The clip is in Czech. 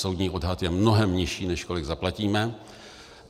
Soudní odhad je mnohem nižší, než kolik zaplatíme.